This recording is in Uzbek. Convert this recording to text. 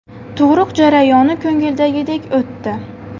Tug‘ruq jarayoni ko‘ngildagidek o‘tdi.